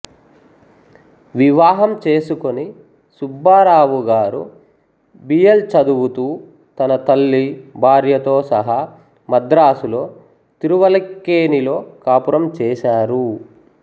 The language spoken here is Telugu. వివాహంచేసుకుని సుబ్బారావు గారు బియల్ చదువుతూ తన తల్లి భార్యతో సహా మద్రాసులో తిరువలిక్కేణిలో కాపురం చేశారు